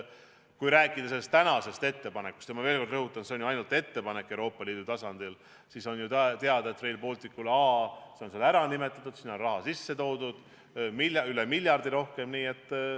Kui rääkida sellest tänasest ettepanekust – ja ma veel kord rõhutan, et see on Euroopa Liidu tasandil ainult ettepanek –, siis on ju teada, et Rail Baltic on seal ära märgitud ja sinna on raha üle miljardi rohkem sisse toodud.